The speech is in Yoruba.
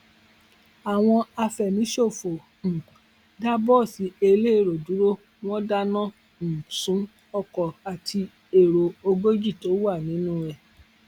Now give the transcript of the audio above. àwọn àfẹmíṣòfò um dà bọọsì elérò dúró wọn dáná um sun ọkọ àti èrò ogójì tó wà nínú ẹ